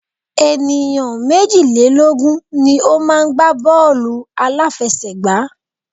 Ènìyàn méjìlélógun ni o má ń gbá bọ́ọ̀lù àláfẹsẹ̀gbá.